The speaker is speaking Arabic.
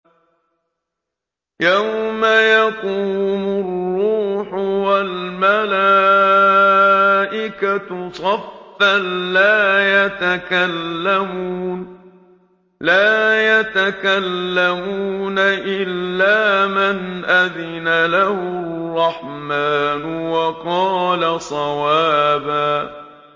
يَوْمَ يَقُومُ الرُّوحُ وَالْمَلَائِكَةُ صَفًّا ۖ لَّا يَتَكَلَّمُونَ إِلَّا مَنْ أَذِنَ لَهُ الرَّحْمَٰنُ وَقَالَ صَوَابًا